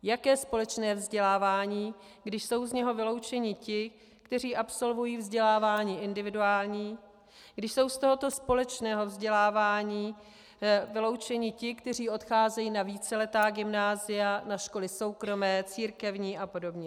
Jaké společné vzdělávání, když jsou z něho vyloučeni ti, kteří absolvují vzdělávání individuální, když jsou z tohoto společného vzdělávání vyloučeni ti, kteří odcházejí na víceletá gymnázia, na školy soukromé, církevní a podobně?